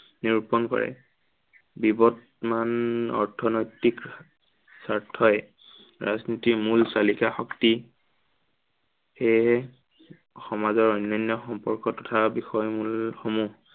নিৰূপন কৰে। বিৱদমান অৰ্থনৈতিক স্বাৰ্থই ৰাজনীতিৰ মূল চালিকা শক্তি। সেয়েহে সমাজৰ অন্য়ান্য় সম্পৰ্ক তথা বিষয়সমূহ নিৰূপন কৰে।